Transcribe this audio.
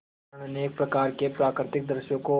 कारण अनेक प्रकार के प्राकृतिक दृश्यों को